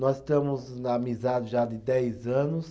Nós estamos na amizade já de dez anos.